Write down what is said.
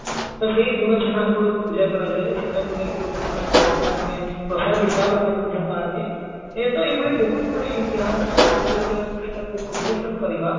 ତ ସେଇ ଗୁଡ ଛେନା ଗୁଡ କୁ ପୂଜା କରାଯାଏ ସେଟାକୁ ନେଇକି ଲୋକମାନେ ବା ମାନେ ପ୍ରସାଦ ହିସାବରେ ମଧ୍ୟ ପାଆନ୍ତି ଏତ ଏଭଳି ବହୁତଗୁଡେ ଇତିହାସର କଥାକୁ ଯଦି ଆମେ ପ୍ରୁଷ୍ଠାକୁ ଉନ୍ମୋଚନ କରିବା